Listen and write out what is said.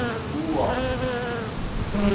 wua